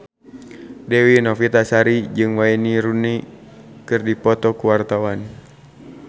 Dewi Novitasari jeung Wayne Rooney keur dipoto ku wartawan